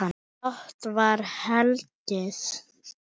Dátt var hlegið.